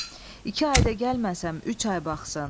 İki ayda gəlməsəm, üç ay baxsın.